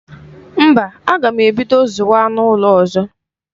Mba, aga m ebido zụwa anụ ụlọ ọzọ.